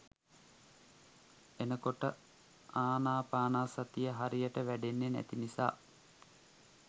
එතකොට ආනාපානසතිය හරියට වැඩෙන්නෙ නැති නිසා